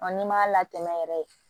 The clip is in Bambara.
n'i m'a latɛmɛ yɛrɛ